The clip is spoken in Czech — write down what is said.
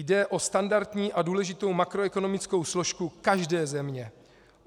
Jde o standardní a důležitou makroekonomickou složku každé země.